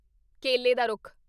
ਕੇਲੇ ਦਾ ਰੁੱਖ